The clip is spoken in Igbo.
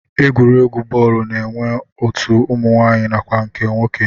Egwuregwu bọọlụ na-enwe otu ụmụnwaanyị nakwa nke nwoke